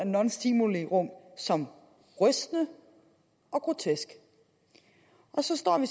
nonstimulirum som rystende og grotesk og så står vi